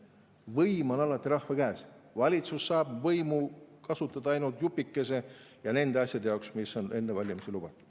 Võim on alati rahva käes, valitsus saab võimu kasutada ainult jupikese ja nende asjade jaoks, mida on enne valimisi lubatud.